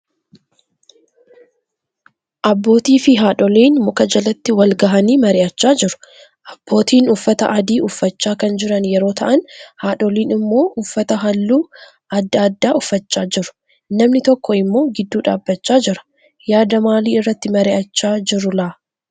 Abbootiif haadholiin muka jalatti wal gahaanii mari'chaa jiru. Abbootiin uffata adii uffachaa kan jiran yeroo ta'aan haadholiin immoo uffata halluu adda addaa uffachaa jiru. namni tokko immoo gidduu dhaabbachaa jira. Yaada maalii irratti mar'ichaa jirulaa?